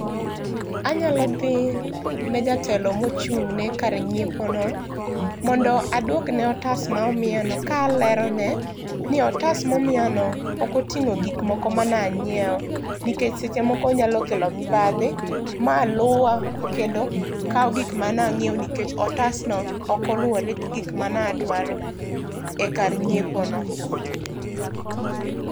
Anyalo dhi ne jatelo mochung' ne kar nyiepo no mondo aduokne otas ma omiyano kalerone ni otas ma omiyano ok oting'o gik moko mane anyiew nikech seche moko nyalo kelo mibadhi maluwa kendo kaw gik mane anyiewo nikech otas no ok oluore gi gik mane adwaro e kar nyiepo no